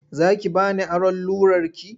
Za ki ba ni aron rularki?